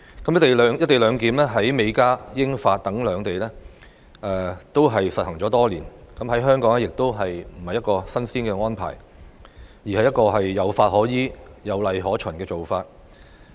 "一地兩檢"在美加、英法等邊境已實行多年，在香港亦不是一項新鮮安排，而是一個有法可依、有例可循的做法。